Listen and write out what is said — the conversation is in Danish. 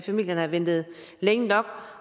familierne har ventet længe nok